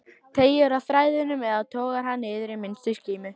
Teygir á þræðinum eða togar hann niður í minnstu skímu?